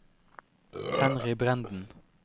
Henry Brenden